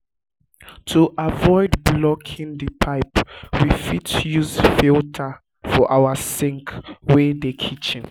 to avoid blocking di pipe we fit use filter for our sink wey dey kitchen